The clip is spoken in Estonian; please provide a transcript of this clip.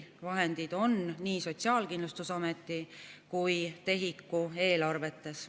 Vahendid on nii Sotsiaalkindlustusameti kui ka TEHIK‑u eelarves.